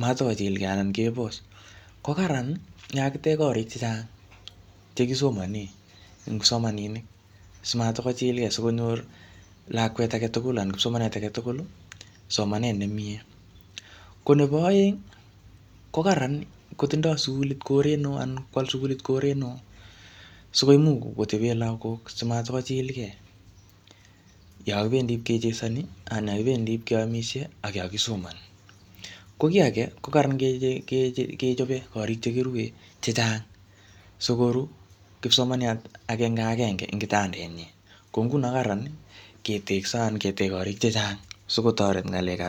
matkochilkey anan kebos. Ko kararan yekakitech korik chechang che kisomane, eng kipsomaninik, simatkochilkey sikonyor lakwet age tugul anan kipsomaniat age tugul somanet ne miee. Ko nebo aeng, ko kararan kotindoi sukulit koret neoo, anan kwal sukulit koret neoo, sikoimuch kotebe lagok simatkochilkey yakibendi kechesani, anan yokibendi ipkeamisie, ak yakisomani. Ko kiy age, ko kararan kechobe korik che kirue chechang, sikoru kipsomaniat agenge agenge ing kitandet nyi. Ko nguno kararan ketekso, anan ketej korik chechang, sikotoret ng,alekab